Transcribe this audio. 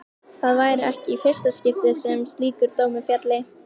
Það væri ekki í fyrsta skipti sem slíkur dómur félli.